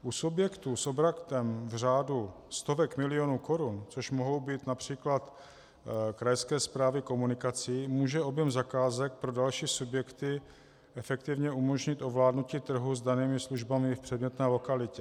U subjektů s obratem v řádu stovek milionů korun, což mohou být například krajské správy komunikací, může objem zakázek pro další subjekty efektivně umožnit ovládnutí trhu s danými službami v předmětné lokalitě.